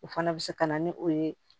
O fana bɛ se ka na ni o ye